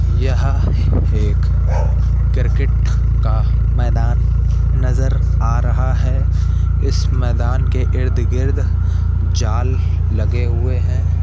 यह एक क्रिकेट का मैदान नजर आ रहा है। इस मैदान के गिर्द-गिर्द जाल लगे हुए हैं।